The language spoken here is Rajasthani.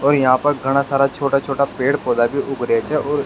और यहाँ पर घाना सारा छोटा छोटा पेड़ पौधा भी उग रेहा छे और --